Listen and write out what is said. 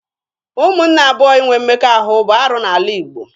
Ụmụnne abụọ inwe mmekọahụ bụ arụ n'ala Igbo.